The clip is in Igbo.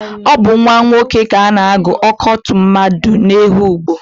Ọ bu nwa nwoke ka ana-agụ Oko tụmadi n'Ehugbo.